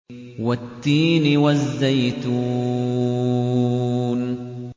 وَالتِّينِ وَالزَّيْتُونِ